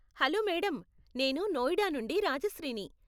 Hello madam, నేను నోయిడా నుండి రాజశ్రీని.